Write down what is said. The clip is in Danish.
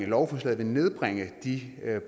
lovforslaget vil nedbringe af de